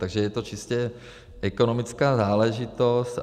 Takže je to čistě ekonomická záležitost.